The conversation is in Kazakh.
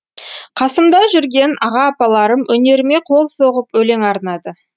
қасымда жүрген аға апаларым өнеріме қол соғып өлең арнады